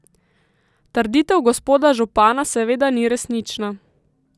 Trditev gospoda župana seveda ni resnična.